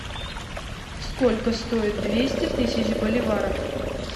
сколько стоит двести тысяч боливаров